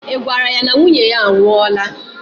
I gwara ya na nwunye ya a nwụọla?